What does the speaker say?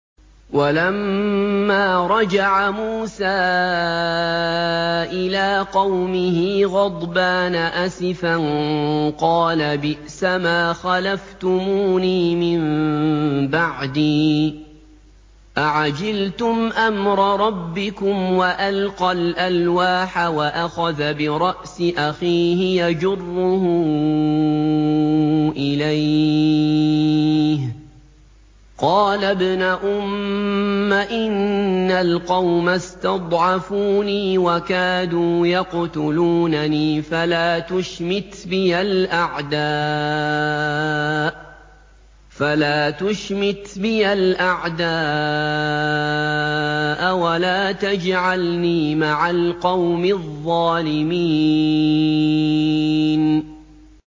وَلَمَّا رَجَعَ مُوسَىٰ إِلَىٰ قَوْمِهِ غَضْبَانَ أَسِفًا قَالَ بِئْسَمَا خَلَفْتُمُونِي مِن بَعْدِي ۖ أَعَجِلْتُمْ أَمْرَ رَبِّكُمْ ۖ وَأَلْقَى الْأَلْوَاحَ وَأَخَذَ بِرَأْسِ أَخِيهِ يَجُرُّهُ إِلَيْهِ ۚ قَالَ ابْنَ أُمَّ إِنَّ الْقَوْمَ اسْتَضْعَفُونِي وَكَادُوا يَقْتُلُونَنِي فَلَا تُشْمِتْ بِيَ الْأَعْدَاءَ وَلَا تَجْعَلْنِي مَعَ الْقَوْمِ الظَّالِمِينَ